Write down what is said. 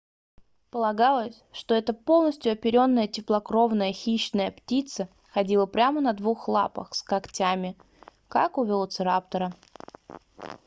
полагалось что эта полностью оперённая теплокровная хищная птица ходила прямо на двух лапах с когтями как у велоцираптора